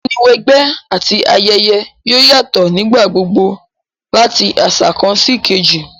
Ìmúniwẹgbẹ́ àti ayẹyẹ yoo yatọ nígbà gbogbo lati aṣa kan síkejì